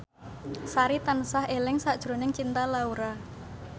Sari tansah eling sakjroning Cinta Laura